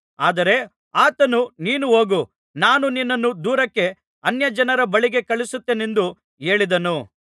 ಆದರೆ ಆತನು ನೀನು ಹೋಗು ನಾನು ನಿನ್ನನ್ನು ದೂರಕ್ಕೆ ಅನ್ಯಜನರ ಬಳಿಗೆ ಕಳುಹಿಸುತ್ತೇನೆಂದು ಹೇಳಿದನು